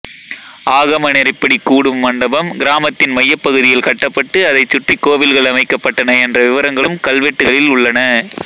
ஆகம நெறிப்படி கூடும் மண்டபம் கிராமத்தின் மையப்பகுதியில் கட்டப்பட்டு அதைச் சுற்றி கோவில்கள் அமைக்கப்பட்டன என்ற விவரங்களும் கல்வெட்டுக்களில் உள்ளன